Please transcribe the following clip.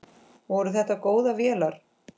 Voru þetta góðar vélar?